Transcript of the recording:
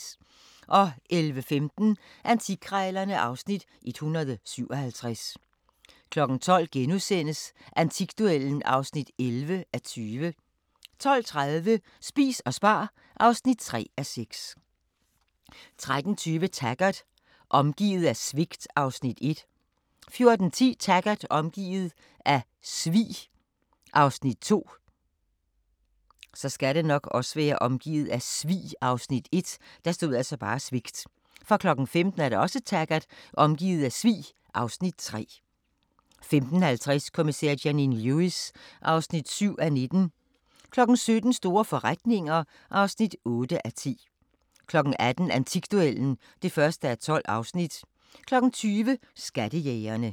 11:15: Antikkrejlerne (Afs. 157) 12:00: Antikduellen (11:20)* 12:30: Spis og spar (3:6) 13:20: Taggart: Omgivet af svigt (Afs. 1) 14:10: Taggart: Omgivet af svig (Afs. 2) 15:00: Taggart: Omgivet af svig (Afs. 3) 15:50: Kommissær Janine Lewis (7:19) 17:00: Store forretninger (8:10) 18:00: Antikduellen (1:12) 20:00: Skattejægerne